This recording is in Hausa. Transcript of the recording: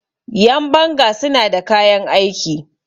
Yanbanga suna da kayan aiki